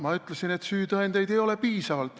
Ma ütlesin, et süütõendeid ei ole piisavalt.